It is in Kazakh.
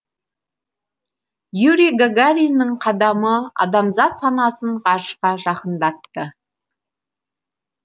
юрий гагариннің қадамы адамзат санасын ғарышқа жақындатты